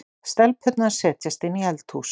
Stelpurnar setjast inn í eldhús.